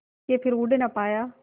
के फिर उड़ ना पाया